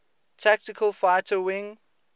tactical fighter wing